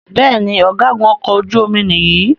Béèni Ọ̀gágun okò ojú omi yí ní.